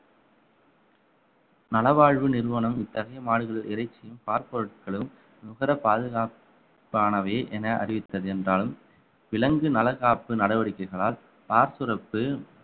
நலவாழ்வு நிறுவனம் இத்தகைய மாடுகள் இறைச்சியும் பால் பொருட்களும் நுகர பாதுகாப்பு வானவை என அறிவித்தது என்றாலும் விலங்கு நல காப்பு நடவடிக்கைகளால் பார்சுரப்பு